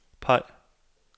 peg